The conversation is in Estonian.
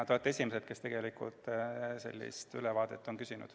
Te olete tegelikult esimesed, kes sellist ülevaadet on küsinud.